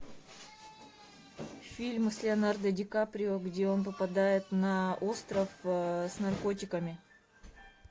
фильм с леонардо ди каприо где он попадает на остров с наркотиками